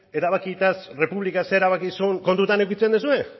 erabakaietaz errepublikak zer erabaki zuen kontutan edukitzen duzue